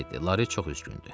Lari çox üzgündü.